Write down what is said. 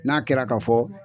N'a kɛra ka fɔ